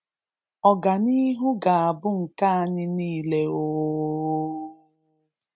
Ọganihu ga-abụ nke anyị niile ooooooo